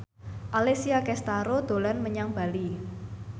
Alessia Cestaro dolan menyang Bali